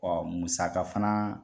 musaka fana